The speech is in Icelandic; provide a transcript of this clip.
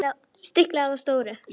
Stiklað á stóru